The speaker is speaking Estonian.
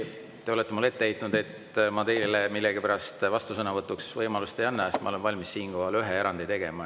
Te olete mulle ette heitnud, et ma teile millegipärast vastusõnavõtuks võimalust ei anna, ma olen valmis siinkohal ühe erandi tegema.